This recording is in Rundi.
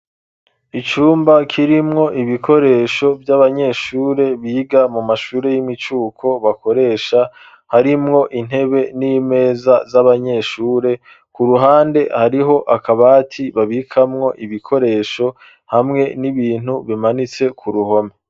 Icumba kirimwo ibikoresho vy'abanyeshure biga mu mashuri y'imicuko bakoresha harimwo intebe n'imeza z'abanyeshure, ku ruhande hariho akabati babikamwo ibikoresho hamwe n'ibintu bimanitse ku ruhome.